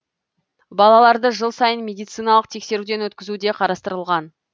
балаларды жыл сайын медициналық тексеруден өткізу де қарастырылған